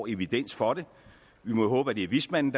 evidens for det vi må jo håbe at det er vismanden